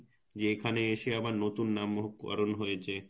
যে এখানে এসে যে আবার নতুন নামকরন হয়েছে,